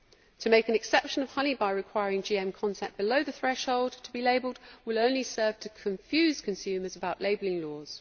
To make an exception of honey by requiring GM content below the threshold to be labelled will only serve to confuse consumers about labelling laws.